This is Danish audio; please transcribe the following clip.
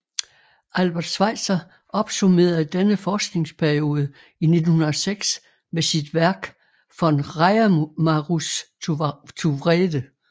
Albert Schweitzer opsummerede denne forskningsperiode i 1906 med sit værk Von Reimarus zu Wrede